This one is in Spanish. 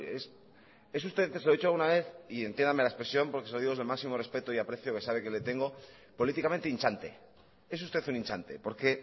se lo he dicho alguna vez y entiéndame la expresión porque se lo digo desde el máximo respeto y aprecio que sabe que le tengo políticamente hinchante es usted un hinchante porque